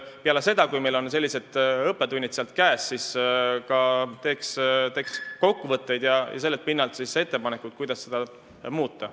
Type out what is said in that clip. Peale seda, kui meil on õppetunnid käes, võiks teha kokkuvõtteid ja sellelt pinnalt ka muudatusettepanekuid.